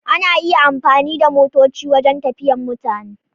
Ana iya amfani da motoci wajen tafiyan mutane.